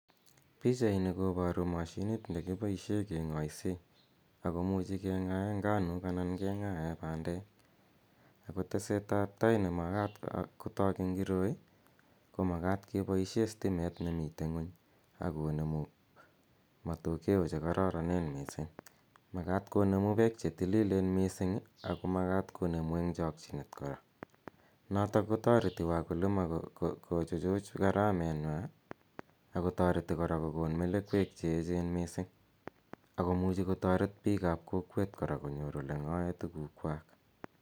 Pichaini kopatu mashinit ne kipaishe keng'aise ako muchi keng'ae nganuk anan keng'ae pandek. Ako tesetap tai ne makat eng' koroi ko makat kepaishe stimet nemi ng'uny ak konemu matokea che kararanen missing'. Makat konemu pek che tililen missing' ako makat konemu eng' chakchinet kora. Notok ko tareti wakulima kochuchuch garamenwa ako tareti kora kokon melekwek che echen missing'. Ako muchi kotaret piik ap kolwet kora konyor ole ng'ae tugukwak.